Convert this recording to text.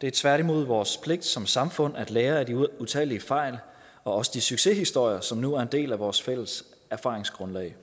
det er tværtimod vores pligt som samfund at lære af de utallige fejl og også de succeshistorier som nu er en del af vores fælles erfaringsgrundlag